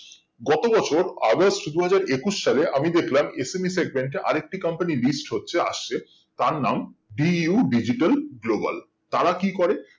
গত বছর অগাস্ট দুই হাজার একুশ সালে আমি দেখলাম SMS sender আরেকটি company list হচ্ছে আসছে তার নাম DU digital global তারা কি করে